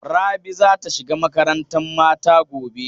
Rabi za ta shiga makarantan mata gobe.